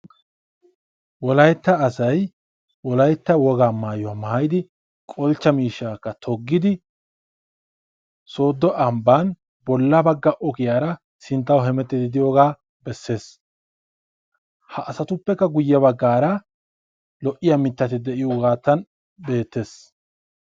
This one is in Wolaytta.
Wolaytta asay wolaytta wogaa maayuwa maayidi qolchcha miishshaakka toggidi sooddo ambban bolla bagga ogiyaara sinttaw hemettiiddi de"iyoogaa bessees. Ha asatuppekka guyye baggaara lo"iyaa mittati de"iyoogaatan beettes.